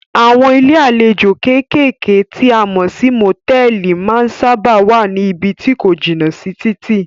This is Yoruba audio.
Àwọn ilé àlejò kékèké tí a mọ̀ sí motẹ̀ẹ̀li máa ń sábáà wá ní ibí tí ko jìnà sí títì.